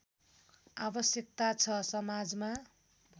आवश्यकता छ समाजमा